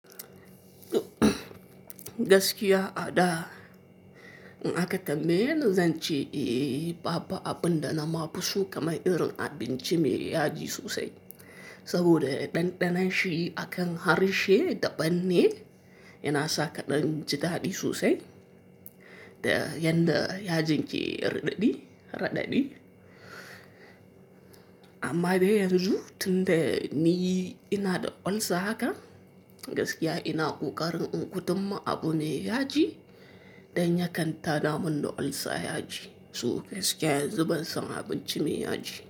Gaskiya a da in aka tambaye ni zance, baɓa abun da na fi so kamar irin abinci mai yaji sosai. Saboda ɗanɗanon shi akan harshe da banne, yana sa kaɗan ji daɗi sosai. Da yanda ya jin ke raɗaɗi radadi, amma dai yanzu tun da ni ina da olsa haka, gaskiya ina ƙoƙarin in gudan ma abu mai yaji dan ya kanta da man da olsa yaji. To gaskiya yanzu ban san abinci mai yaji.